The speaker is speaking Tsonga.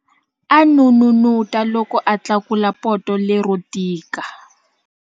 A n'unun'uta loko a tlakula poto lero tika.